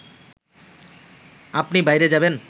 আপনি বাইরে যাবেন